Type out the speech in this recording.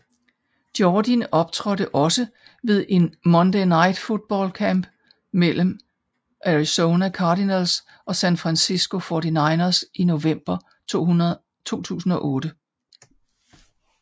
Jordin optrådte også ved en Monday Night Football kamp mellem Arizona Cardinals og San Francisco 49ers i november 2008